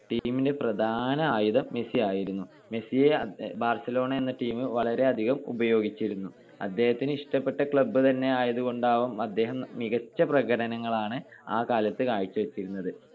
team ന്റെ പ്രധാന ആയുധം മെസ്സി ആയിരുന്നു. മെസ്സിയെ ബാർസലോണ എന്ന team വളരെയധികം ഉപയോഗിച്ചിരുന്നു. അദ്ദേഹത്തിന് ഇഷ്ടപെട്ട club തന്നെ ആയതുകൊണ്ടാവാം അദ്ദേഹം മികച്ച പ്രകടനങ്ങളാണ് ആ കാലത്തു കാഴ്ച്ച വച്ചിരുന്നത്.